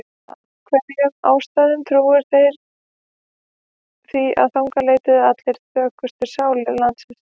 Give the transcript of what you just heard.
Af einhverjum ástæðum trúðu þeir því að þangað leituðu allar þjökuðustu sálir landsins.